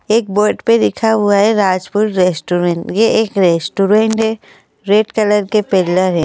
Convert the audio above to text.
एक बोर्ड पे लिखा हुआ है राजपुर रेस्टोरेंट यह एक रेस्टोरेंट है रेड कलर के पिलर हैं।